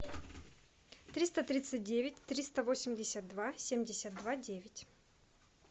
триста тридцать девять триста восемьдесят два семьдесят два девять